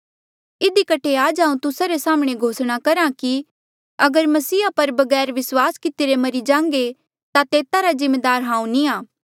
इधी कठे आज हांऊँ तुस्सा रे साम्हणें घोषणा करहा कि अगर मसीहा पर बगैर विस्वास कितिरे मरी जांघे ता तेता रा जिम्मेदार हांऊँ नी आ